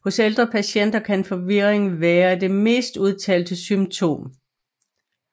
Hos ældre patienter kan forvirring være det mest udtalte symptom